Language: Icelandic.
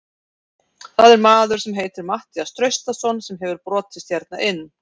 Það er maður sem heitir Matthías Traustason sem hefur brotist hérna inn.